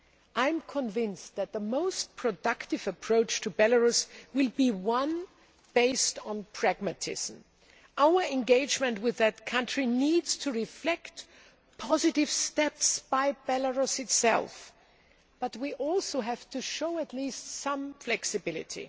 I am convinced that the most productive approach to Belarus will be one based on pragmatism. Our engagement with that country needs to reflect positive steps by Belarus itself, but we also have to show at least some flexibility.